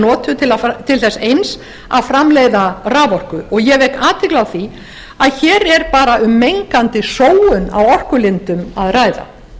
notuð til þess eins að framleiða raforku og ég vek athygli á því að hér er bara um mengandi sóun á orkulindum að ræða það er